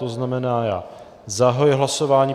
To znamená, já zahajuji hlasování.